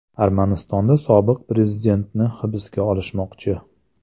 Armanistonda sobiq prezidentni hibsga olishmoqchi.